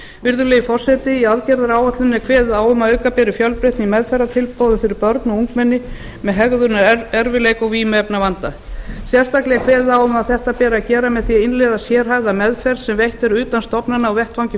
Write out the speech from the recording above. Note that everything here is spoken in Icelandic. virðulegi forseti í aðgerðaáætluninni er kveðið á um að auka beri fjölbreytni í meðferðartilboðum fyrir börn og ungmenni með hegðunarerfiðleika og vímuefnavanda sérstaklega er kveðið á um að þetta beri að gera með því að innleiða sérhæfða meðferð sem veitt er utan stofnana á vettvangi